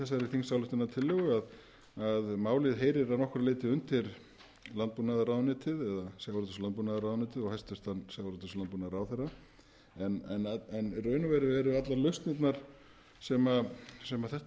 þessari þingsályktunartillögu að málið heyrir að nokkru leyti undir sjávarútvegs og landbúnaðarráðuneytið og hæstvirtur sjávarútvegs og landbúnaðarráðherra en í raun og veru eru allar lausnirnar sem þetta mál